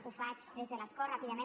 ho faig des de l’escó ràpidament